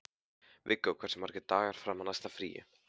Viggó, hversu margir dagar fram að næsta fríi?